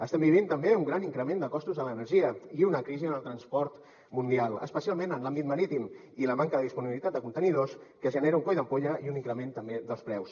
estem vivint també un gran increment de costos de l’energia i una crisi en el transport mundial especialment en l’àmbit marítim i la manca de disponibilitat de contenidors que genera un coll d’ampolla i un increment també dels preus